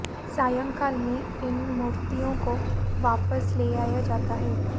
सायंकाल में इन मूर्तियों को वापस ले आया जाता है